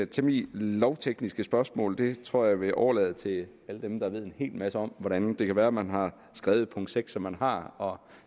temmelig lovtekniske spørgsmål det tror jeg vil overlade til alle dem der ved en hel masse om hvordan det kan være at man har skrevet punkt seks som man har og